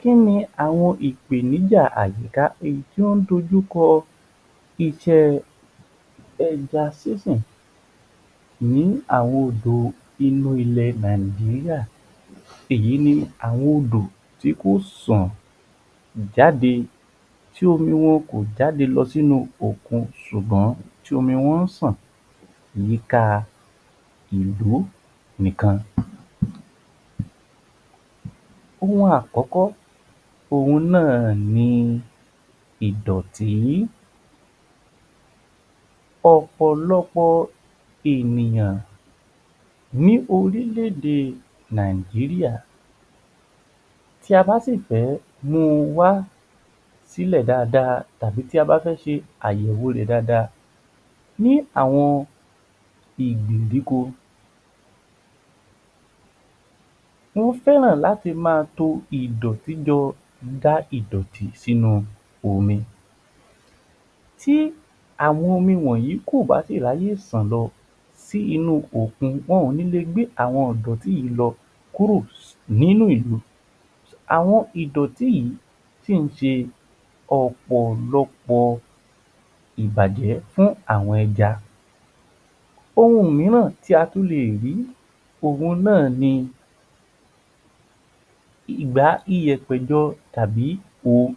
Kí ni àwọn ìpènijà àyíká tí ó ń dojú kọ iṣẹ́ ẹja sísìn ni àwọn odò inú ilẹ̀ Nàìjíríà, èyí ni àwọn odò tí kò sàn jáde tí omi wọn kò jáde lọ sí inú òkun ṣùgbọ́n tí omi wọn ń ṣàn àyíká ìlú nìkan. Ohun àkókò, òhun náà ni ìdọ̀tí. Ọ̀pọ̀lọpọ̀ ènìyàn ní orílé-èdè Nàìjíríà, tí a bá sì fẹ́ mu wá sílè dáada tàbí tí a bá fẹ́ ṣe àyẹ̀wò rẹ̀ dada ni àwọn ìgbìndíko wọ́n fẹ́ràn láti má to ìdọ̀tí jọ, dà ìdọ̀tí sínú omi. Tí àwọn omi wọ̀nyìí kò bá rí àyè láti ṣàn lọ sínú òkun, wọn ò ní le gbé àwọn ìdọ̀tí yìí lọ kúrò nínú ìlú. Àwọn ìdọ̀tí yìí tí kì í ń ṣe ọ̀pọ̀lọpọ̀ ìbàjẹ́ fún àwọn ẹja. Ohun mìíràn tí a tún lè rí, òhun náà ni ìgbá ìyẹ̀pẹ̀ jọ tàbí um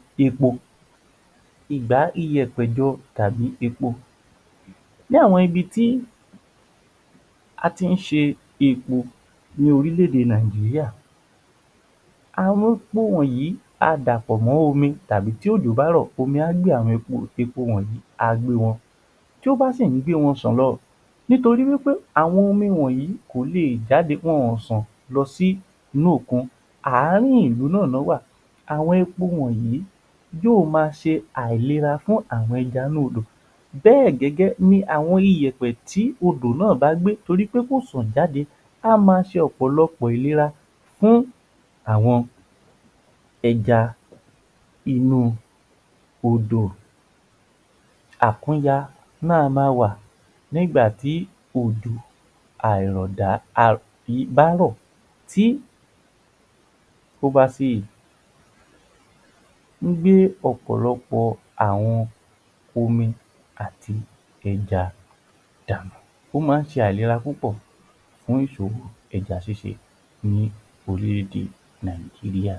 epo, ní àwọn ibi tí a ti ń ṣe epo ní orílé-èdè Nàìjíríà, àwọn epo wọ̀nyìí á dàpọ̀ mọ́ omi tàbí tí òjò bá rò omi á gbé àwọn epo wọ̀nyìí á gbé wọn, tí bá sìn ń gbé wọn ṣàn lọ nítorí wí pé àwọn omi wọ̀nyìí kò lè jáde wọn ò ṣàn lọ sí inú òkun àárín ìlú náà lọ wà, àwọn epo wọ̀nyìí yóò ma ṣe àìléra fún àwọn ẹja inú Odò bẹ́ẹ̀ gẹ́gẹ́ ni àwọn ìyẹ̀pẹ̀ tí odò bá gbé torí pé kò ṣàn jáde á ó ma ṣe ọ̀pọ̀lọpọ̀ ìléra fún àwọn ẹja inú Odò. Àkúnyà á ma wà nígbà tí òjò àìrọ̀ dá bá rọ̀ tí ó bá sì gbé ọ̀pọ̀lọpọ̀ àwọn omi àti ẹja dànù, ó máa ń ṣe àìlera púpọ̀ fún ìṣòwò ẹja ṣíṣe ní orílé-èdè Nàìjíríà